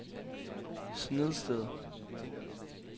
Snedsted